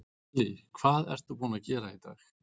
Lillý: Hvað ertu búinn að gera í dag?